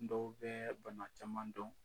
Dɔw bɛ bana caman dɔn